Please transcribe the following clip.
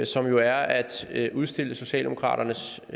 som jo er at udstille socialdemokraternes